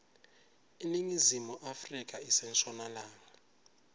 iningizimu afrika ise nshonalanga